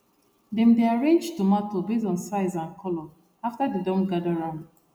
dem dey arrange tomato based on size and colour after dem don gather am